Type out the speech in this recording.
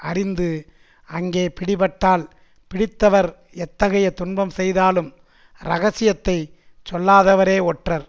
அறிந்து அங்கே பிடிபட்டால் பிடித்தவர் எத்தகைய துன்பம் செய்தாலும் ரகசியத்தைச் சொல்லாதவரே ஒற்றர்